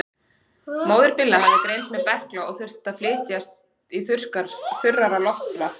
Móðir Billa hafði greinst með berkla og þurfti að flytjast í þurrara loftslag.